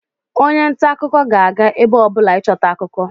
onye nta akụkọ ga-aga ebe ọbụla ịchọta akụkọ